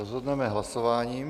Rozhodneme hlasováním.